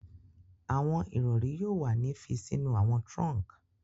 Awọn irori yoo wa ni fi sinu awọn trunk